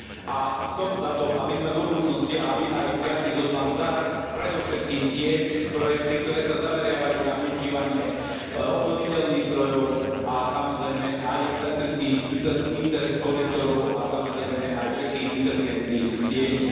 Aj som za to, aby sme do budúcnosti a aby aj piaty zoznam zahŕňal predovšetkým tie projekty, ktoré sa zameriavajú na využívanie obnoviteľných zdrojov a samozrejme aj elektrických inter interkonektorov a samozrejme aj všetkých inteligentných sietí.